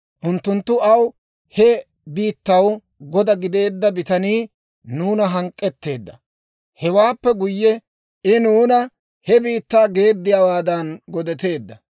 Unttunttu aw, «He biittaw goda gideedda bitanii nuuna hank'k'eteedda. Hewaappe guyye, I nuuna he biittaa geeddiyaawaadan godatteedda.